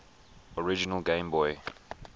original game boy